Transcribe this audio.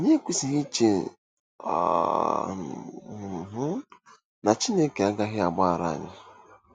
Anyị ekwesịghị iche um na Chineke agaghị agbaghara anyị.